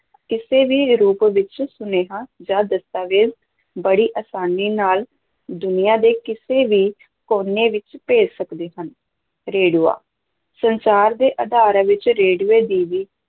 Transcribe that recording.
ਕਿਸੇ ਵੀ ਰੂਪ ਵਿੱਚ ਸੁਨੇਹਾ ਜਾਂ ਦਸਤਾਵੇਜ ਬੜੀ ਅਸਾਨੀ ਨਾਲ ਦੁਨੀਆਂ ਦੇ ਕਿਸੇ ਵੀ ਕੋਨੇ ਵਿੱਚ ਭੇਜ ਸਕਦੇ ਹਾਂ, ਰੇਡੀਓ ਸੰਚਾਰ ਦੇ ਆਧਾਰ ਵਿੱਚ ਰੇਡੀਓ ਦੀ ਵੀ